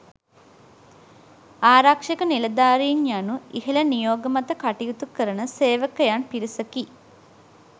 ආරක්ෂක නිලධාරීන් යනු ඉහළ නියෝග මත කටයුතු කරන සේවකයන් පිරිසකි.